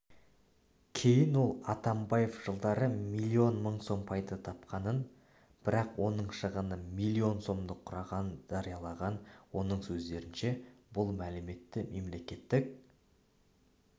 кейін ол атамбаев жылдары миллион мың сом пайда тапқанын бірақ оның шығыны миллион сомды құрағанын жариялаған оның сөздерінше бұл мәліметті мемлекеттік